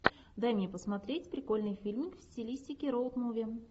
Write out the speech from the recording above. дай мне посмотреть прикольный фильмик в стилистике роуд муви